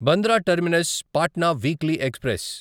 Bandra terminus Patna weekly express